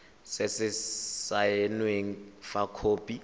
se se saenweng fa khopi